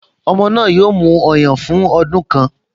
Ọmọ náà yóò mu ọyàn fún ọdún kan